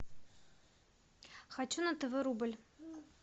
хочу на тв рубль